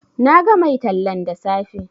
Na ga mai tallan da safe